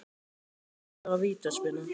Þetta var vítaspyrna